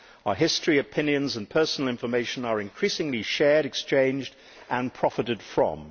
Our history, opinions and personal information are increasingly shared, exchanged and profited from.